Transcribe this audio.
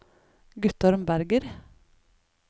Guttorm Berger